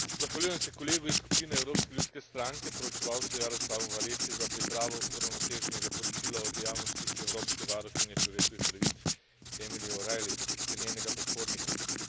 Zahvaljujem se kolegu iz skupine Evropske ljudske stranke poročevalcu Jarosławu Wałęsi za pripravo uravnoteženega poročila o dejavnostih evropske varuhinje človekovih pravic Emily O'Reilly ter njenega predhodnika.